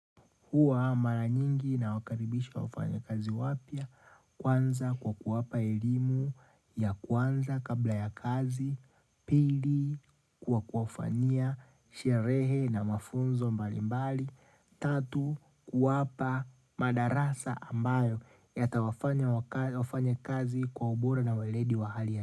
Huwa mara nyingi nawakaribisha wafanyikazi wapya, kwanza kwa kuwapa elimu ya kwanza kabla ya kazi, pili kwa kuwafanyia, sherehe na mafunzo mbali mbali, tatu kuwapa madarasa ambayo yatawafanya wakae wafanyikazi kwa ubora na waledi wa hali ya.